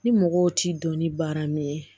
Ni mɔgɔw t'i dɔn ni baara min ye